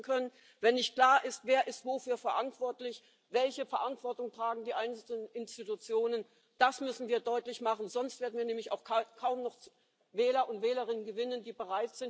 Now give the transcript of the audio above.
now the time is right. The ground is prepared for a Canada-plus-style trade deal between you and between us. We leave political union but we carry on doing business on a tariff-free